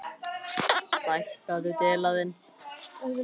Jæja, þá það, best ég reyni.